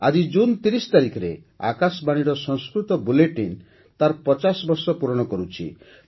ଆଜି ଜୁନ୍ ୩୦ ତାରିଖରେ ଆକାଶବାଣୀର ସଂସ୍କୃତ ବୁଲେଟିନ୍ ତା'ର ପଚାଶ ବର୍ଷ ପୂରଣ କରୁଛି